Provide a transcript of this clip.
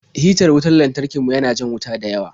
Hitar wutar lantarki mu ya na jan wuta dayawa.